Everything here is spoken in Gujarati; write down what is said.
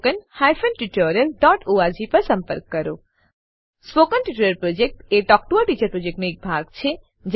spoken tutorial project talk to a teacher પ્રોજેક્ટનો એક ભાગ છે